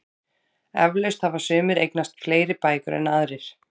Eflaust hafa sumir eignast fleiri bækur en aðrir.